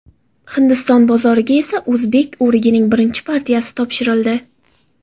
Hindiston bozoriga esa o‘zbek o‘rigining birinchi partiyasi topshirildi.